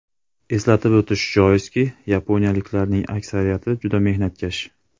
Eslatib o‘tish joizki, yaponiyaliklarning aksariyati juda mehnatkash.